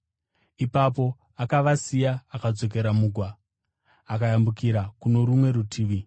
Ipapo akavasiya, akadzokera mugwa akayambukira kuno rumwe rutivi.